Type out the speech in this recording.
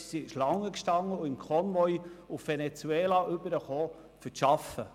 Sie kamen im Konvoi nach Venezuela hinüber, um zu arbeiten.